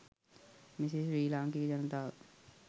මෙසේ ශ්‍රී ලාංකික ජනතාව